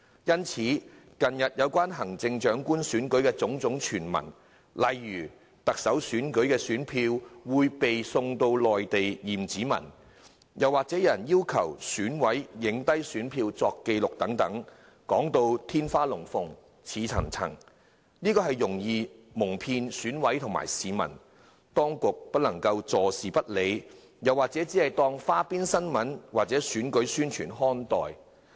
因此，近日有關行政長官選舉的種種傳聞，例如選票會送到內地驗指紋，又或是有人要求選舉委員會委員拍下選票作紀錄等，說到天花龍鳳、言之鑿鑿，很容易蒙騙選委及市民，當局不能坐視不理，只當花邊新聞或選舉宣傳看待。